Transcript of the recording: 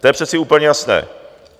To je přece úplně jasné.